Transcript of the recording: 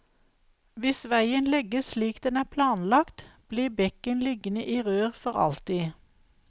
Hvis veien legges slik den er planlagt, blir bekken liggende i rør for alltid.